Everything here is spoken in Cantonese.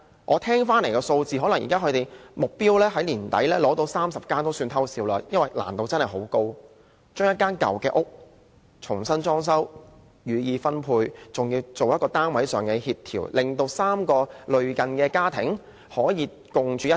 我聽聞，能在年底達成取得30個單位這個目標也要"偷笑"，因為真的很困難，將一個舊單位重新裝修，予以分配，還要做配對協調，令3個類似家庭可以共處一室。